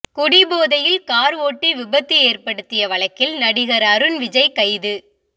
குடிபோதையில் கார் ஓட்டி விபத்து ஏற்படுத்திய வழக்கில் நடிகர் அருண் விஜய் கைது